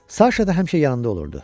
Saşa da həmişə yanında olurdu.